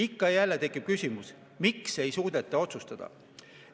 Ikka ja jälle tekib küsimus, miks ei suudeta otsustada.